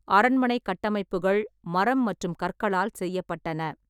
அரண்மனை கட்டமைப்புகள் மரம் மற்றும் கற்களால் செய்யப்பட்டன.